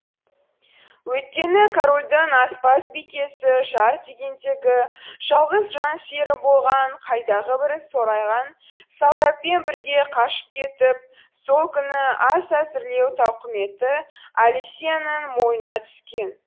өйткені корольдің аспаз бикесі жар дегендегі жалғыз жан сүйері болған қайдағы бір сорайған солдатпен бірге қашып кетіп сол күні ас әзірлеу тауқыметі алисияның мойнына түскен